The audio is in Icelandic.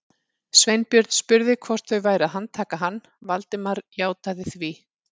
Sveinbjörn spurði hvort þau væru að handtaka hann, Valdimar játaði því.